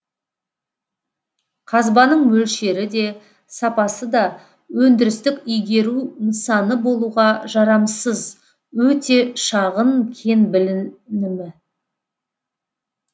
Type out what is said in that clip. қазбаның мөлшері де сапасы да өндірістік игеру нысаны болуға жарамсыз өте шағын кен білінімі